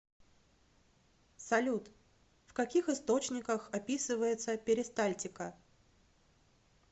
салют в каких источниках описывается перистальтика